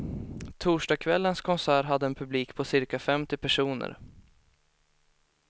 Torsdagskvällens konsert hade en publik på cirka femtio personer.